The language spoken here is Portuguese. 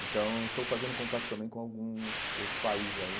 Então, estou fazendo contato também com alguns outros países ainda.